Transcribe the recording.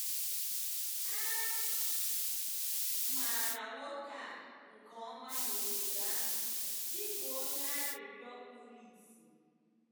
A maara nwoke a nke ọma n’obodo ahụ dị ka onye arịrịọ kpuru ìsì.